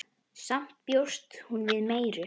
Samt bjóst hún við meiru.